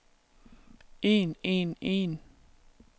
en en en